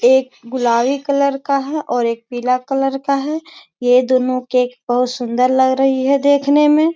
एक गुलाबी कलर का है और एक पीला कलर का है। ये दोनों केक बहुत सुंदर लग रही है देखने में।